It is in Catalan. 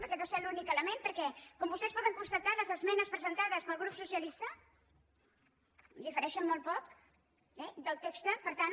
perquè deu ser l’únic element perquè com vostès poden constatar les esmenes presentades pel grup socialista difereixen molt poc eh del text per tant